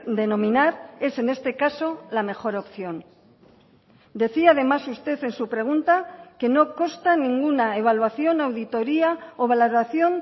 denominar es en este caso la mejor opción decía además usted en su pregunta que no consta en ninguna evaluación auditoria o valoración